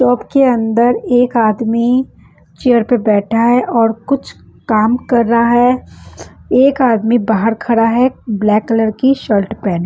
shop के अंदर एक आदमी चेयर पर बैठा है और कुछ काम कर रहा है एक आदमी बाहर खरा है ब्लैक कलर की शर्ट पेह --